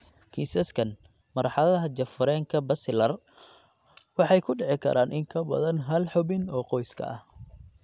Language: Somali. Kiisaskan, marxaladaha jaf-wareenka basilar waxay ku dhici karaan in ka badan hal xubin oo qoyska ah.